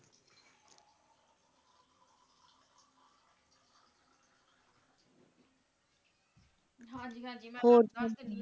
ਹੋਸ਼ਨ